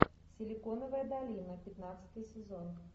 силиконовая долина пятнадцатый сезон